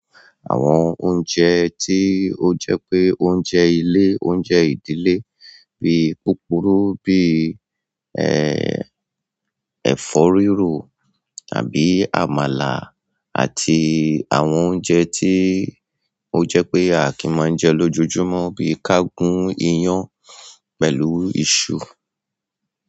Àwọn oúnjẹ tí ó jẹ́ pé oúnjẹ ilé, oúnjẹ ìdílé bí púpùrù bí i, ẹ́, ẹ̀fọ́ rírò tàbí àmàlà àti àwọn oúnjẹ tí ó jẹ́ pé a kì í máa ń jẹ lójoojúmọ́ bíi kágún iyán pẹ̀lú iṣu.